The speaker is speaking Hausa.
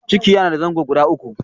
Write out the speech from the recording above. ciki yana da zango guda uku.